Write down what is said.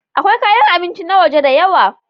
Akwai kayan abinci na waje da yawa.